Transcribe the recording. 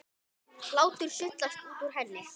Hlátur sullast út úr henni.